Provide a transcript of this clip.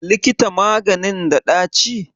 Likita maganin da ɗaci?